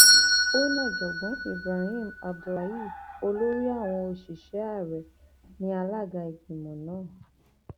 ó ní ọjọgbọn ibrahim abdullahi olórí àwọn òṣìṣẹ ààrẹ ní alága ìgbìmọ náà